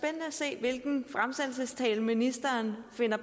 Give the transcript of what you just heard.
at se hvilken fremsættelsestale ministeren finder